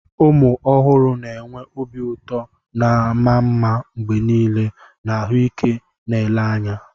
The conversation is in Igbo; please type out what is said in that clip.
Ụmụ ọhụrụ na enwe obi ụtọ na ama mma mgbe niile na ahụike na ele anya.